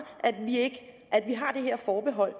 at vi har det her forbehold